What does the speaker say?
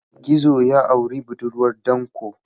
Gizo ya auri budurwar danƙo.